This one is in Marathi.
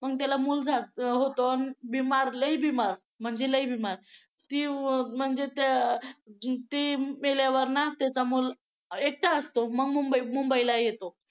पण त्याला मूल होतो बिमार लई बिमार म्हणजे लई बिमार ती म्हणजे ती मेल्यावर ना त्याचा मूल एकटा असतो मग मुंबई मुंबईला येतो.